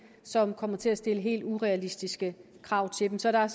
som kommer til at stille helt urealistiske krav til dem så der er